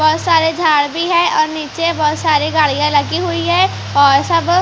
बहुत सारे झाड़ भी हैं और नीचे बहुत सारे गाड़ियाँ लगी हुई हैं और सब--